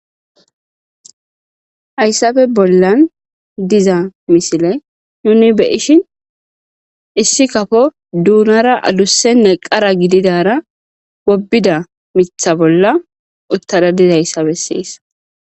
hayssafe bollan diza misile nuni beyishin issi kafo duunara adussenne qara gididara wobida mitha bolla uttada dizaayssa besseesa